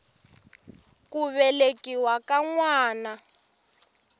ku velekiwa ka n wana